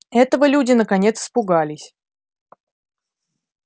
этого люди наконец испугались